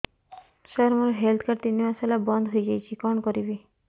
ସାର ମୋର health card ତିନି ମାସ ହେଲା ବନ୍ଦ ହେଇଯାଇଛି କଣ କରିବି